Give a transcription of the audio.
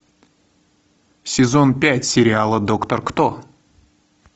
сезон пять сериала доктор кто